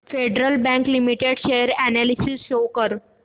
federal bank limited share analysis show कर